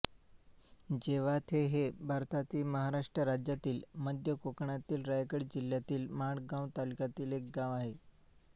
जवाथे हे भारतातील महाराष्ट्र राज्यातील मध्य कोकणातील रायगड जिल्ह्यातील माणगाव तालुक्यातील एक गाव आहे